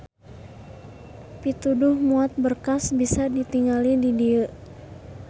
Pituduh muat berkas bisa ditingali di dieu.